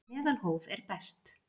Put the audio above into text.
Meðalhóf er best.